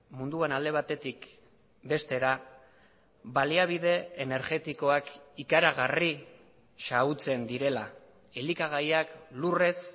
munduan alde batetik bestera baliabide energetikoak ikaragarri xahutzen direla elikagaiak lurrez